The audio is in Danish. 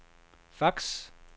fax